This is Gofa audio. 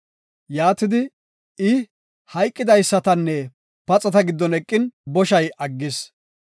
Yaatidi, I hayqidaysatanne paxata giddon eqin, boshay aggis.